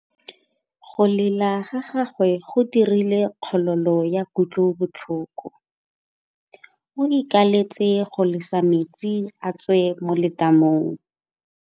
Go lela ga gagwe go dirile kgololô ya kutlobotlhoko. O ikaeletse go lesa metsi a tswe mo letamong.